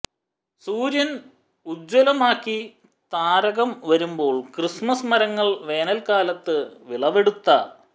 സൂര്യൻ ഉജ്ജ്വലമാക്കി താരകം വരുമ്പോൾ ക്രിസ്മസ് മരങ്ങൾ വേനൽക്കാലത്ത് വിളവെടുത്ത